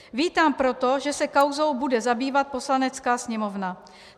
Vítám proto, že se kauzou bude zabývat Poslanecká sněmovna.